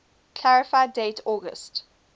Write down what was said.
clarify date august